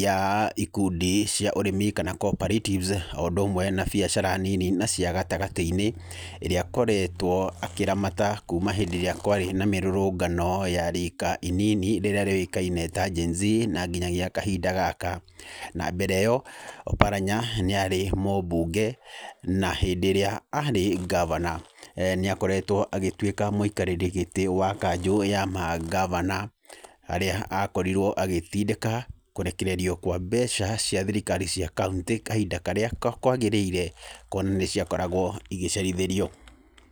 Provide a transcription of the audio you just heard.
ya ikundi cia ũrĩmi kana cooperatives o ũndũ ũmwe na biacara nini na cia gatagatĩ-inĩ, ĩrĩa akoretwo akĩramata kuma hĩndĩ ĩrĩa kwarĩ na mĩrũrũngano ya rika inini rĩrĩa rĩũĩkaine ta Gen-Z, na nginyagia kahinda gaka. Na mbere ĩyo Oparanya nĩ arĩ mũbunge, na hĩndĩ ĩrĩa arĩ ngavana, nĩ akoretwo agĩtuĩka mũikarĩri gĩtĩ wa kanjũ ya ma ngavana, harĩa akorirwo agĩtindĩka kũrekererio kwa mbeca cia thirikari cia kaũntĩ kahinda karĩa kwagĩrĩire, kuona nĩ ciakoragwo igĩcerithĩrio.